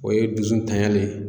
O ye dusu tanya le ye.